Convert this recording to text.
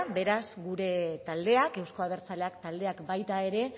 beraz gure taldeak euzko abertzaleak taldeak baita ere